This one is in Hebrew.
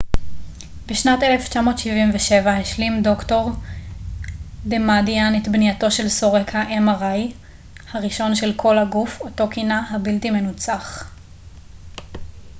"בשנת 1977 השלים ד""ר דמאדיאן את בנייתו של סורק ה־mri הראשון של "כל-הגוף" אותו כינה "הבלתי מנוצח"".